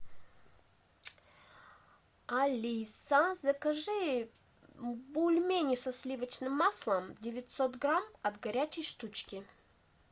алиса закажи бульмени со сливочным маслом девятьсот грамм от горячей штучки